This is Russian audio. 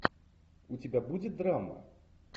у тебя будет драма